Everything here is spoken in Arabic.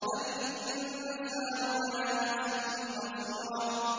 بَلِ الْإِنسَانُ عَلَىٰ نَفْسِهِ بَصِيرَةٌ